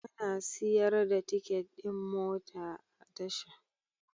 Ana siyar da tiket ɗin mota a tasha.